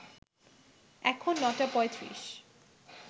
এখন নটা পঁয়ত্রিশ